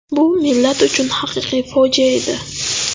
Bu millat uchun haqiqiy fojia edi.